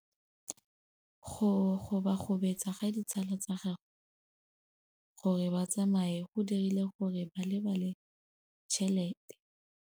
Go gobagobetsa ga ditsala tsa gagwe, gore ba tsamaye go dirile gore a lebale tšhelete.